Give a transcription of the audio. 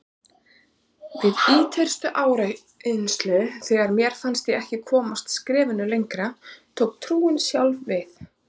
Við ýtrustu áreynslu, þegar mér fannst ég ekki komast skrefinu lengra, tók trúin sjálf við.